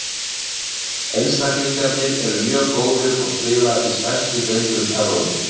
Einstaklingarnir eru mjög góðir og spila í stærstu deildum Evrópu.